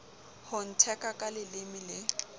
ho ntheka ka leleme le